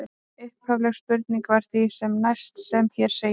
Upphafleg spurning var því sem næst sem hér segir: